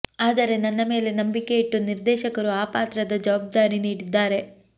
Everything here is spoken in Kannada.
ಆದರೆ ನನ್ನ ಮೇಲೆ ನಂಬಿಕೆ ಇಟ್ಟು ನಿರ್ದೇಶಕರು ಆ ಪಾತ್ರದ ಜವಾಬ್ದಾರಿ ನೀಡಿದ್ದಾರೆ